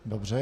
Dobře.